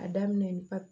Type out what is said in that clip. A daminɛ